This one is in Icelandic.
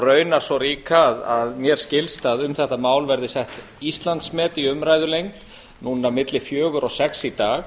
raunar svo ríka að mér skilst að um þetta mál verði sett íslandsmet í umræðulengd núna milli fjögur og sex í dag